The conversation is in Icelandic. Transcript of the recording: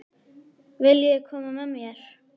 Viljiði koma með mér?